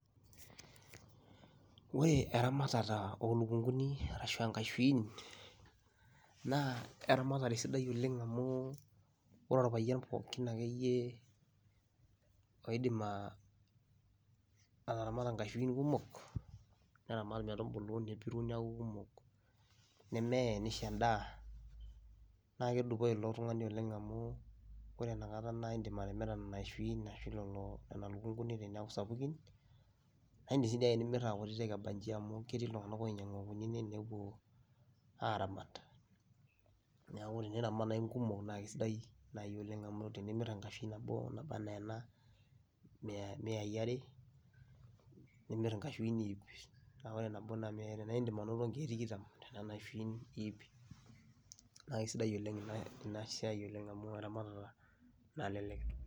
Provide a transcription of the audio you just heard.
Ore eramatare olukunguni ashu nkashuin na eramatare sidai amu ore orpayian akeyie oidim ataramata nkashuin kumok neaku kumok nisho endaa, na kedupoi ilotungani amu ore inakata kidim atimira nona kashuin ashu lukunguni sapukin, yanu kesidai tenimir nona lukunguni akutitik aramat, neaku eniramat nai nkumok neaku kesidai amu tenimir enkashui nabo na miai are ,tenimir nkashuin ip naa indim aintoto nkiek tikitam tonona kashuin ip, nakesidai oleng inasiai amu eramatare nalelek.